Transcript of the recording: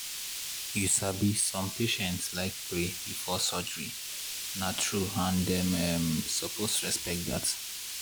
you sabi some patients like pray before surgery na true and dem um suppose respect dat.